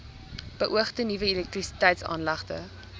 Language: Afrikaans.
beoogde nuwe elektrisiteitsaanlegte